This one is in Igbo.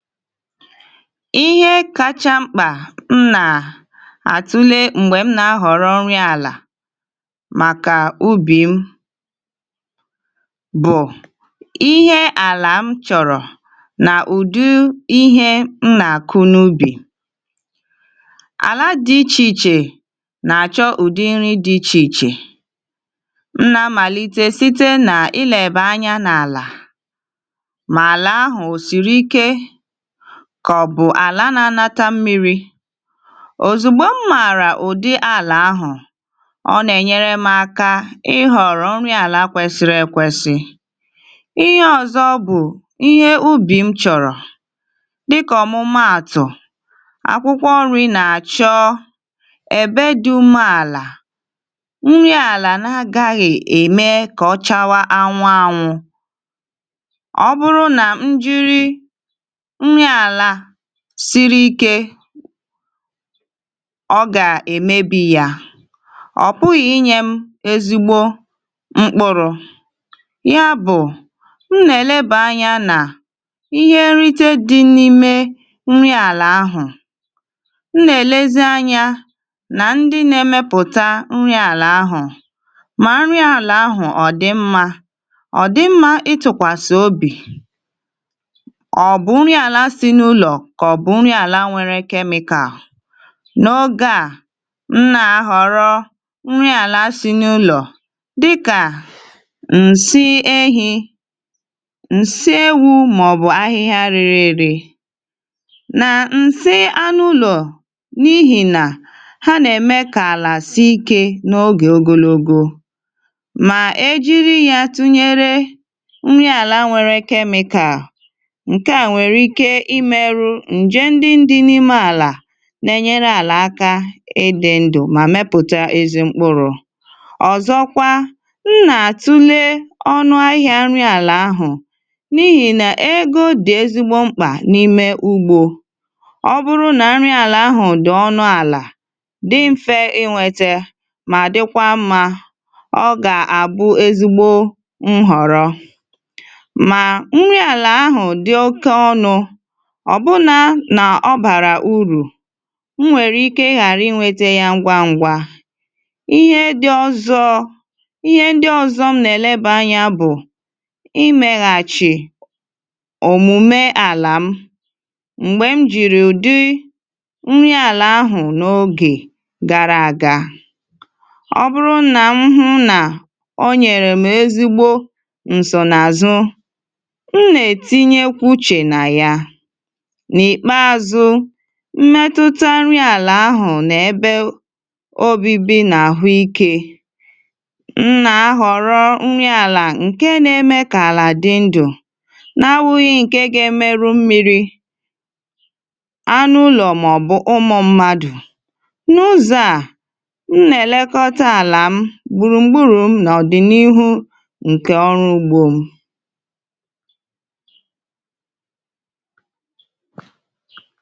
iIhe kacha mkpà m nà àtụle m̀gbè m nà-ahọ̀rọ̀ nri àlà màkà ubì m bụ̀ ihe àlà m chọ̀rọ̀ nà ụ̀dị ihe m nà-àkụ n’ubì. Ala dị ichè ichè nà-àchọ ụ̀dị nri dị ichè ichè. M nà-amàlite site na ịleba anyȧ n’àlà, mala ahụ o siriike kọ̀ bụ̀ àla n’anȧtȧ mmiri̇. Ozùgbo m mȧàrà ùdị àlà ahụ̀, ọ nà-ènyere m aka ịhọ̀rọ̀ nri àlà kwesịri ekwesị. Ihe ọ̀zọ bụ̀ ihe ubì m chọ̀rọ̀ dịkà ọ̀mụmaàtụ̀ akwụkwọ nri̇ nà-àchọ èbe dị̇ ume àlà nri àlà na agaghị̇ ème kà ọchawa anwụ anwụ̇. Ọ bụrụ nà m jiri nri ala siri ike, ọ gà-èmebi yȧ, ọ̀ pụ̀ghị̀ inyė m ezigbo mkpụrụ. Ya bụ̀, m nà-èlebà anya nà ihe nrite dị̇ n’ime nri àlà ahụ̀, m nà-èlezi anyȧ nà ndị nà-emepùta nrị̇ àlà ahụ̀ mà nrị àlà ahụ̀ ọ̀ dị mmȧ, ọ̀ dị mmȧ ịtụ̀kwàsị̀ obì, kà ọ̀ bụ̀ nri àlà si nụlọ kọbụ nri àlà nwere kemịkà. N’ogė à, m nà-ahọ̀rọ nri àlà si n’ụlọ̀ dịkà nsị ehi̇, nsị ewu̇ màọ̀bụ̀ ahịhịa rere èrè na nsị anụ ulo n’ihì nà ha nà-ème kà àlà sii ike n’ogè ogologo. Mà e jiri ya tụnyere nri àlà nwere kemịkà, nke a nwere ike ịmerụ ǹje ndị dị n’ime àlà na-enyere àlà aka ịdị̇ ndụ̀ mà mepụ̀ta ezimkpụrụ̇. Ọzọkwa, m nà-àtụle ọnụ ahịa nri àlà ahụ̀ n’ihì nà ego dị̀ ezigbo mkpà n’ime ugbȯ. Ọ bụrụ nà nri àlà ahụ̀ dị ọnụ àlà dị mfė inwėtė mà dịkwa mma, ọ gà-àbụ ezigbo nhọ̀rọ. Mà nri àlà ahụ̀ dị oke ọnụ̇ ọ̀ bụna nà ọ bàrà urù m nwèrè ike ghàra ịnwėtė ya ngwa ngwa. Ihe dị̇ ọ̀zọ ihe ndị ọ̀zọ m nà-èleba anyȧ bụ̀ imėghàchì òmùme àlà m mgbè m jìrì ụ̀dị nri àlà ahụ̀ n’ogè gara àga. Ọ bụrụ nà m hụ̇ nà o nyèrè m ezigbo nsònàzụ̀, m nà-ètinye kwuchè nà ya. N’ìkpeazụ, mmetụta nri àlà ahụ̀ nà ebe obibi nà àhụ ikė. M nà- ahọ̀rọ nri àlà ǹkè nà- eme kà àlà dị ndụ̀ n’awụ̇ghị̇ ǹkè ga-emerụ mmi̇ri̇, anụ ụlọ̀ màọ̀bụ̀ ụmụ̇ mmadụ̀. N’ụzà, m nà- èlekọta àlà m, gbùrùgburu̇ m nà ọ̀dị̀nihu ǹkè ọrụ ugbȯ m.